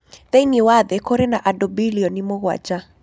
Thĩinĩ wa thĩ kũrĩ na andũ bilioni mũgwanja.